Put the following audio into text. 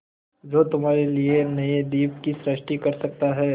जो तुम्हारे लिए नए द्वीप की सृष्टि कर सकता है